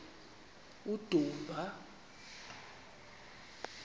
udumba